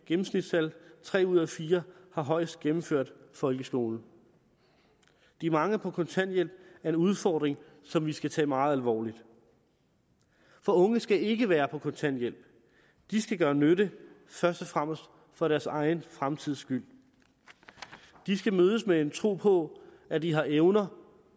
gennemsnitstal tre ud af fire har højst gennemført folkeskolen de mange på kontanthjælp er en udfordring som vi skal tage meget alvorligt for unge skal ikke være på kontanthjælp de skal gøre nytte først og fremmest for deres egen fremtids skyld de skal mødes med en tro på at de har evner